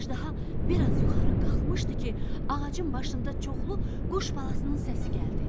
Əjdaha biraz yuxarı qalxmışdı ki, ağacın başında çoxlu quş balasının səsi gəldi.